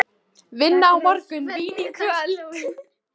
Vinna á morgun, vín í kvöld.